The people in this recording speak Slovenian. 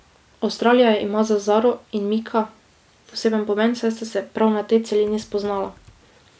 Avstralija ima za Zaro in Mika poseben pomen, saj sta se prav na tej celini spoznala.